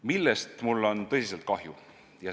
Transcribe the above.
Ühest asjast mul on aga tõsiselt kahju.